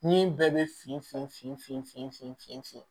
Ni bɛɛ bɛ fin fin fin fin fin fin fin fin